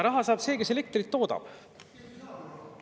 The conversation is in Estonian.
Raha saab see, kes elektrit toodab.